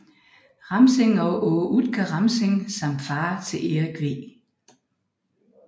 Ramsing og Aage Utke Ramsing samt far til Erik V